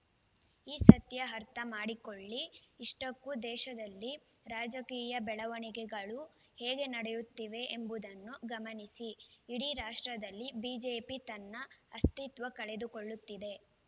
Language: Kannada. ಈ ಸತ್ಯ ಅರ್ಥ ಮಾಡಿಕೊಳ್ಳಿ ಇಷ್ಟಕ್ಕೂ ದೇಶದಲ್ಲಿ ರಾಜಕೀಯ ಬೆಳವಣಿಗೆಗಳು ಹೇಗೆ ನಡೆಯುತ್ತಿವೆ ಎಂಬುದನ್ನು ಗಮನಿಸಿ ಇಡೀ ರಾಷ್ಟ್ರದಲ್ಲಿ ಬಿಜೆಪಿ ತನ್ನ ಅಸ್ತಿತ್ವ ಕಳೆದುಕೊಳ್ಳುತ್ತಿದೆ